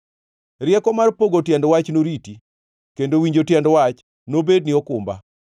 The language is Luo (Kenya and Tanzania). Rieko mar pogo tiend wach noriti, kendo winjo tiend wach nobedni okumba.